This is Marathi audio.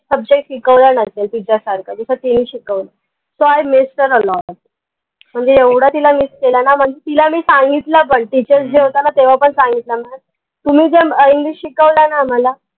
subject शिकवला नसेल तिच्या सारखा जस तिनी शिकवलं काय miss करायला म्हनजे एवढा तिला miss केला ना म्हनजे तिला मी सांगितलं पन teachers होता ना तेव्हा पन सांगितलं ma'am तुम्ही जर english शिकवलं ना आम्हाला